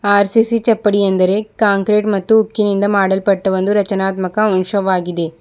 R C C ಚಪ್ಪಡಿಯ ಎಂದರೆ concrete ಮತ್ತು ಉಕ್ಕಿನಿಂದ ಮಾಡಲ್ಪಟ್ಟ ಒಂದು ರಚನಾತ್ಮಕ ಅಂಶವಾಗಿದೆ.